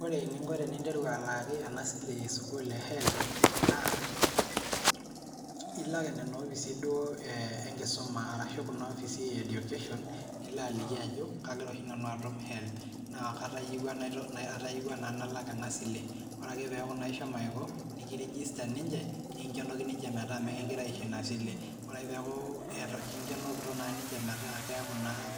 Ore eninko tenentiru alaaki ena sile e sukuul e HELB naa ilak nena opisi duo enkisuma ashu nena ashu kuna opisi e education nilo aliki ajo kagira oshi nanu atum HELB naa katayieuwua naa nalak ena sile. Ore naa peeku ishomo aiko, nikirigista ninche nekinkenoki ninche metaa mekigirae aisho ina sile. Ore ake peeku kinkenokito ninche metaa